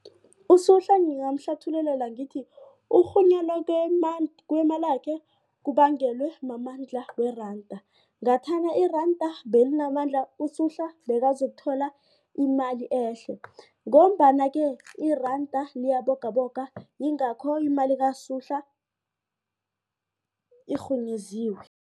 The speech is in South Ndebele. USuhla ngingamhlathululela ngithi ukurhunyela kwemalakhe kubangelwe mamandla weranda. Ngathana iranda belinamandla uSuhla bekazokuthola imali ehle ngombana-ke iranda liyabogaboga yingakho imali kaSuhla irhunyeziwe.